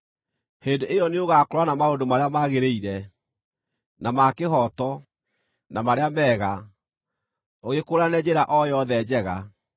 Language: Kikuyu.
Hĩndĩ ĩyo nĩũgakũũrana maũndũ marĩa magĩrĩire, na ma kĩhooto, na marĩa mega: ũgĩkũũrane njĩra o yothe njega.